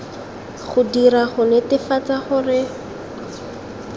go dirwa go netefatsa gore